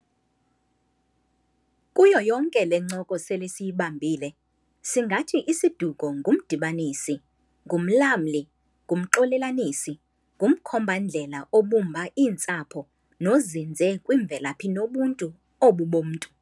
Kuyo yonke le ncoko sele siyibambile, singathi isiduko ngumdibanisi, ngumlamli, ngumxolelanisi, ngumkhomba-ndlela obumba iintsapho nozinze kwimvelaphi nobuntu obu bomntu.